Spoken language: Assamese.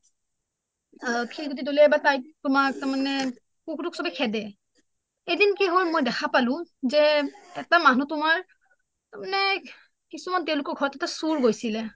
তাইক তোমাৰ তাৰ মানে কুকুৰ টোক চবে খেদে এদিন কি হল মই দেখা পালোঁ যে এটা মানুহ তোমাৰ তাৰ মানে কিছুমান তেঁও লোকৰ ঘৰত এটা চুৰ গৈছিলে